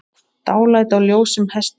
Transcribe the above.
Dálæti á ljósum hestum